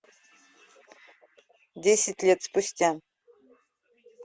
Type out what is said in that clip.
десять лет спустя